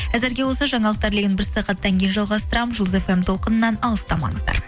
әзірге осы жаңалықтар легін бір сағаттан кейін жалғастырамын жұлдыз фм толқынынан алыстамаңыздар